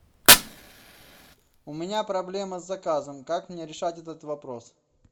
у меня проблема с заказом как мне решать этот вопрос